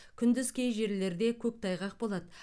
күндіз кей жерлерде көктайғақ болады